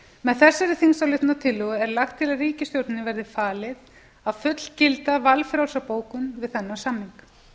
með þessari þingsályktunartillögu er lagt til að ríkisstjórninni verði falið að fullgilda valfrjálsa bókun við þennan samning